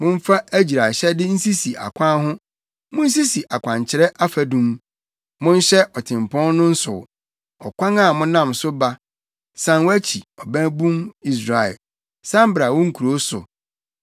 “Momfa agyiraehyɛde nsisi akwan ho; munsisi akwankyerɛ afadum. Monhyɛ ɔtempɔn no nsow, ɔkwan a monam so ba. San wʼakyi, Ɔbabun Israel, san bra wo nkurow so.